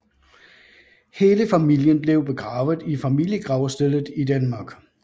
Hele familien blev begravet i familiegravstedet i Darmstadt